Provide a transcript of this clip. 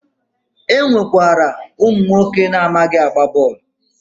E nwekwara ụmụnwoke amaghị agba bọọlụ